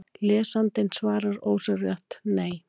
Lesandinn svarar ósjálfrátt: Nei!